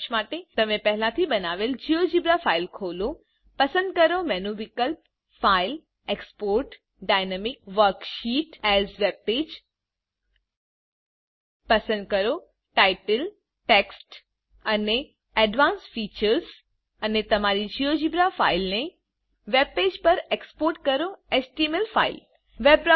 સારાંશ માટે તમે પહેલાથી બનાવેલ જીઓજીબ્રા ફાઈલ ખોલો પસંદ કરો મેનુ વિકલ્પ ફાઇલ જીટેક્સપોર્ટ જીટી ડાયનેમિક વર્કશીટ એએસ વેબપેજ પસંદ કરો ટાઇટલ ટેક્સ્ટ અને એડવાન્સ્ડ ફીચર્સ અને તમારી જીઓજીબ્રા ફાઈલ ને વેબ પેજ પર એક્સપોર્ટ કરો એચટીએમએલ ફાઈલ